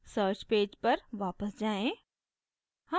search page पर वापस जाएँ